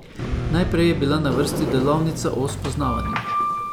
Najprej je bila na vrsti delavnica o spoznavanju.